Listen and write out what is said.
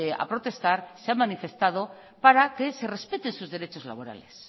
a protestar se han manifestado para que se respete sus derechos laborales